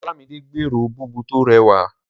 Olámidé gbèrò búbù tó rẹwà.